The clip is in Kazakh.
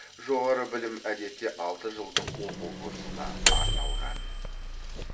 жоғары білім әдетте алты жылдық оқу курсына арналған